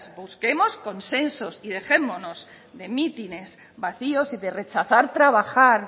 busquemos consensos y dejémonos de mítines vacíos y de rechazar trabajar